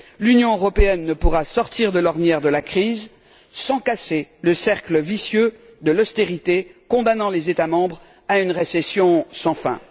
L'Union européenne ne pourra sortir de l'ornière de la crise sans casser le cercle vicieux de l'austérité, qui condamnerait les États membres à une récession sans fin.